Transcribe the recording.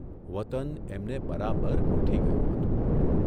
વતન એમને બરાબર ગોઠી ગયું હતું.